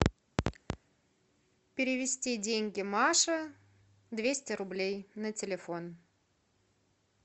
перевести деньги маше двести рублей на телефон